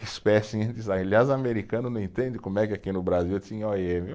Espécie, aliás, o americano não entende como é que aqui no Brasil tinha ó i eme.